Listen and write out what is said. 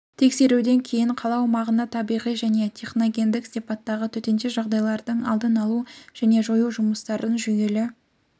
тексеруден кейін қала аумағында табиғи және техногендік сипаттағы төтенше жағдайлардың алдын алу және жою жұмыстарын жүйелі